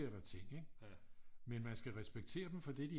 Sker der ting ikke men man skal respektere dem for det de er